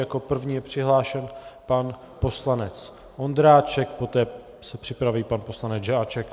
Jako první je přihlášen pan poslanec Ondráček, poté se připraví pan poslanec Žáček.